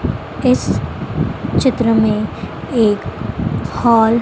इस चित्र में एक हॉल --